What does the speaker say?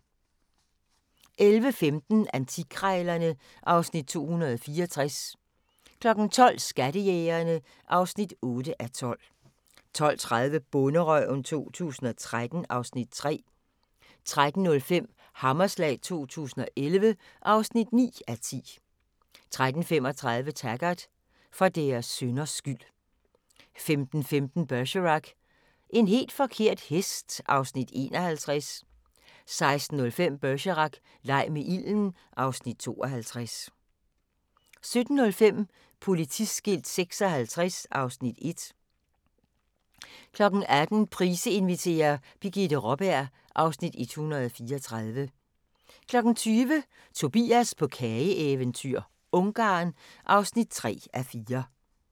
11:15: Antikkrejlerne (Afs. 264) 12:00: Skattejægerne (8:12) 12:30: Bonderøven 2013 (Afs. 3) 13:05: Hammerslag 2011 (9:10) 13:35: Taggart: For deres synders skyld 15:15: Bergerac: En helt forkert hest (Afs. 51) 16:05: Bergerac: Leg med ilden (Afs. 52) 17:00: Politiskilt 56 (Afs. 1) 18:00: Price inviterer – Birgitte Raaberg (Afs. 134) 20:00: Tobias på kageeventyr – Ungarn (3:4)